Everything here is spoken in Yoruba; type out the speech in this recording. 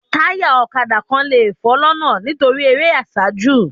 Taya ọ̀kadà kan lè fọ́ lọ́nà nítorí eré àsájù